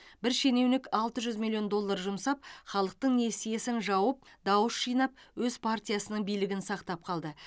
бір шенеунік алты жүз миллион доллар жұмсап халықтың несиесін жауып дауыс жинап өз партиясының билігін сақтап қалды